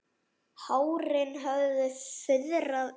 Hárin höfðu fuðrað upp.